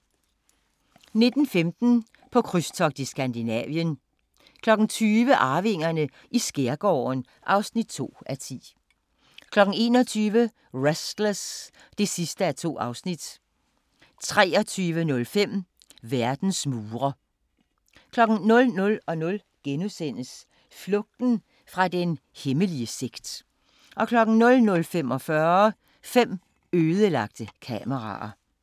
19:15: På krydstogt i Skandinavien 20:00: Arvingerne i skærgården (2:10) 21:00: Restless (2:2) 23:05: Verdens mure 00:00: Flugten fra den hemmelige sekt * 00:45: Fem ødelagte kameraer